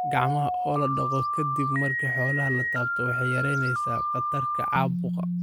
Gacmaha oo la dhaqo ka dib marka xoolaha la taabto waxay yaraynaysaa khatarta caabuqa.